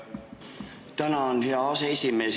Tänan, hea aseesimees!